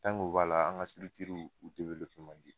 o b'a la, an ka u man di.